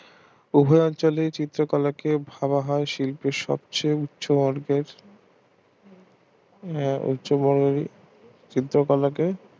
উভয় অঞ্চলের চিত্র কলাকে ভাবা হয় শিল্পের সবচেয়ে উচ্চ বর্গের আহ উচ্চ বর্গের শিল্প কলাকে